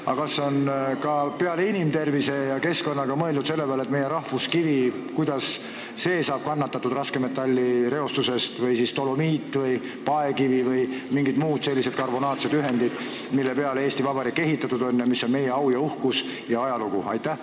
Aga kas on peale inimeste tervise ja keskkonna mõeldud ka selle peale, et kuidas kannatavad raskmetallireostuse tõttu meie rahvuskivi paekivi ja dolomiit ning muud karbonaatsed kivimid, mille peale Eesti Vabariik ehitatud on ning mis on meie au ja uhkus ja ajalugu?